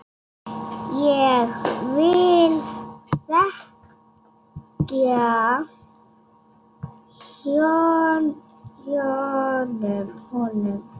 Ég vil þakka honum.